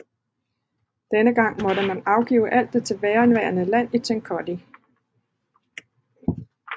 Denne gang måtte man afgive alt det tilbageværende land i Kentucky